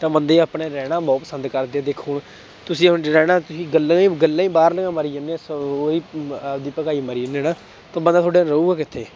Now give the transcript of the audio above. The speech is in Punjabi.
ਤਾਂ ਬੰਦੇ ਆਪਣੇ ਰਹਿਣਾ ਬਹੁਤ ਪਸੰਦ ਕਰਦੇ ਦੇਖੋ ਤੁਸੀਂ ਰਹਿਣਾ ਗੱਲਾਂ ਹੀ ਗੱਲਾਂ ਹੀ ਬਾਹਰਲੀਆਂ ਮਾਰੀ ਜਾਂਦੇ ਹੋ ਆਪਦੀ ਭਕਾਈ ਮਾਰੀ ਜਾਂਦੇ ਨਾ ਤਾਂ ਬੰਦਾ ਤੁਹਾਡਾ ਰਹੇਗਾ ਕਿੱਥੇ।